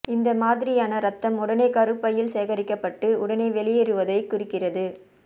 இந்த மாதிரியான இரத்தம் உடனே கருப்பையில் சேகரிக்கப்பட்டு உடனே வெளியேறுவதை குறிக்கிறது